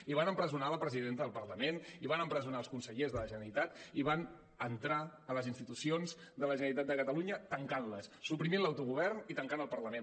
i van empresonar la presidenta del parlament i van empresonar els consellers de la generalitat i van entrar a les institucions de la generalitat de catalunya tancant les suprimint l’autogovern i tancant el parlament